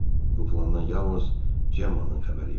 Bu plandan yalnız Cemmanın xəbəri yox idi.